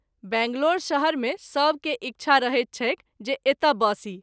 बैंगलोर शहर मे सभ के इच्छा रहैत छैक जे एतय बसी।